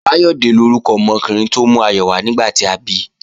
Báyọ̀dé lórúkọ ọmọkùnrin tó mú ayọ̀ wá nígbà tí a bi